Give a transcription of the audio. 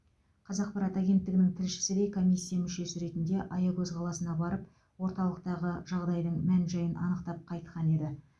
қазақпарат агенттігінің тілшісі де комиссия мүшесі ретінде аягөз қаласына барып орталықтағы жағдайдың мән жайын анықтап қайтқан еді